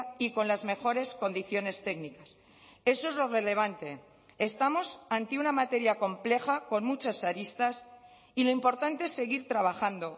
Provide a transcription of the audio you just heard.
y con las mejores condiciones técnicas eso es lo relevante estamos ante una materia compleja con muchas aristas y lo importante es seguir trabajando